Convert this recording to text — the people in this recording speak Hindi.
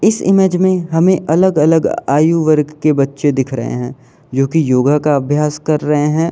इस इमेज में हमें अलग अलग आयु वर्ग के बच्चे दिख रहे हैं जो कि योगा का अभ्यास कर रहे हैं।